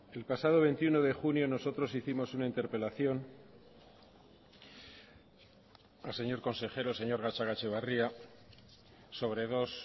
el pasado veintiuno de junio nosotros hicimos una interpelación al señor consejero señor gatzagaetxebarria sobre dos